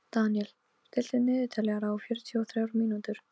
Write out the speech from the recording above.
Þetta er orðin góð viðdvöl að sinni.